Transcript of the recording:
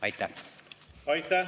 Aitäh!